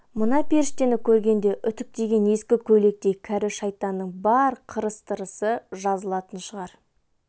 мына періштені көргенде үтіктеген ескі көйлектей кәрі шайтанның бар қырыс-тырысы жазылатын шығар